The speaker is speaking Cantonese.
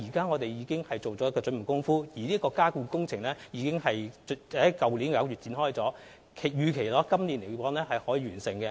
我們已做好準備工夫，而加固工程已於去年9月展開，預期可於今年內完成。